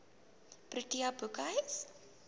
protea boekhuis